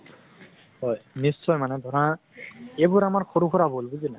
হয় নিশ্চয় মানে ধৰা এইবোৰ আমাৰ সৰু সিৰা ভুল, বুজ নাই।